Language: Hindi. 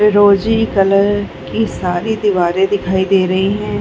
फिरोजी कलर की सारी दीवारें दिखाई दे रही है।